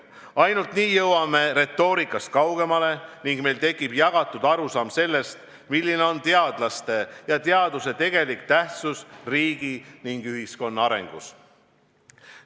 Ainult nii jõuame retoorikast kaugemale ning meil tekib jagatud arusaam sellest, milline on teadlaste ja teaduse tegelik tähtsus riigi ja ühiskonna arengus.